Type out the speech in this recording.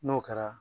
N'o kɛra